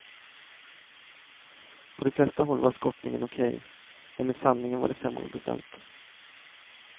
På de flesta håll var skottningen okej, men med sandningen var det sämre beställt.